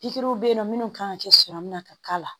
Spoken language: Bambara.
Pikiriw bɛ yen nɔ minnu kan ka kɛ sɔrɔ min na ka k'a la